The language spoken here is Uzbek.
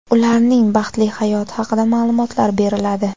ularning baxtli hayoti haqida ma’lumotlar beriladi.